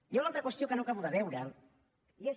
hi ha una altra qüestió que no acabo de veure i és